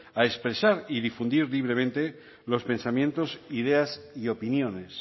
a expresar y difundir libremente los pensamientos ideas y opiniones